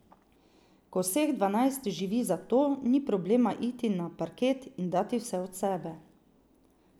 Ko vseh dvanajst živi za to, ni problema iti na parket in dati vse od sebe.